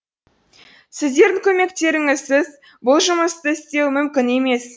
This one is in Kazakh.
сіздердің көмектеріңізсіз бұл жұмысті істеу мүмкін емес